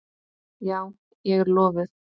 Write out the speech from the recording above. Já, ég er lofuð.